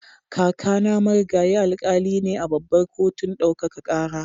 Kakana Marigayi Alkali ne a Babbar Kotun Ɗaukaka Kara.